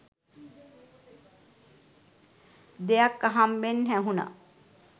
දෙයක් අහම්බෙන් ඇහුන